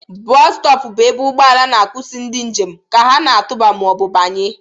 Bostop bụ ebe ụgbọ ala na-akwụsị ndị njem ka ha na-atụba ma ọ bụ banye